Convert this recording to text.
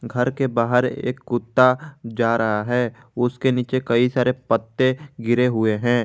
घर के बाहर एक कुत्ता जा रहा है उसके नीचे कई सारे पत्ते गिरे हुए हैं।